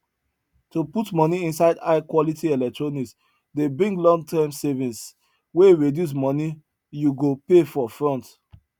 to put money inside high quality electronics dey bring longterm savings wey reduce money you go pay for front